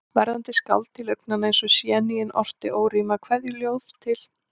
Verðandi skáld, til augnanna eins og séníin, orti órímað kveðjuljóð til